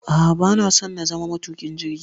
a'a bana so na zama matuƙin jirgi